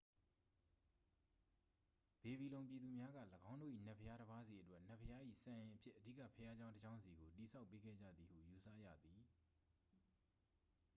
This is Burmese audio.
ဘေဘီလုံပြည်သူများက ၎င်းတို့၏ နတ်ဘုရားတစ်ပါးစီအတွက် နတ်ဘုရား၏ စံအိမ်အဖြစ် အဓိကဘုရားကျောင်းတစ်ကျောင်းစီကို တည်ဆောက်ပေးခဲ့ကြသည်ဟု ယူဆရသည်